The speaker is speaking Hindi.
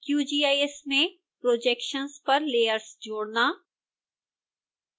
qgis में projections पर लेयर्स जोड़ना